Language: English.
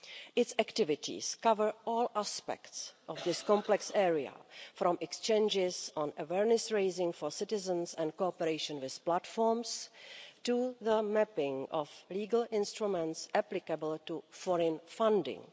Its activities cover all aspects of this complex area, from exchanges on awareness-raising for citizens and cooperation with platforms, to the mapping of legal instruments applicable to foreign funding.